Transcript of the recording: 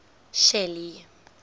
shelly